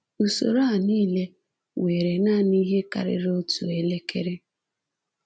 Usoro a niile were naanị ihe karịrị otu elekere.